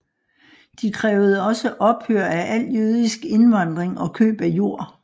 De krævede også ophør af al jødisk indvandring og køb af jord